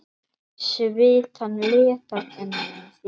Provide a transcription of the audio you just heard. Svitann leka af enni þínu.